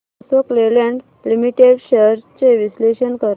Ashok Leyland limited shares चे विश्लेषण कर